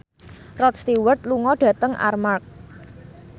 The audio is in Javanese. Rod Stewart lunga dhateng Armargh